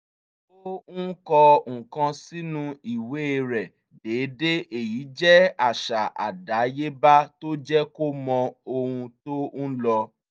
ó ń kọ nǹkan sínú ìwé rẹ̀ déédéé èyí jẹ́ àṣà àdáyéba tó jẹ́ kó mọ ohun tó ń lọ